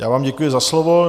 Já vám děkuji za slovo.